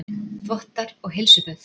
Þvottar og heilsuböð